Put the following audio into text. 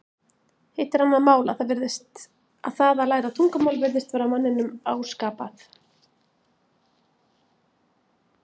Hitt er annað mál að það að læra tungumál virðist vera manninum áskapað.